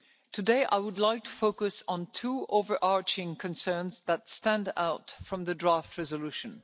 Today, I would like to focus on two of the overarching concerns that stand out from the draft resolution.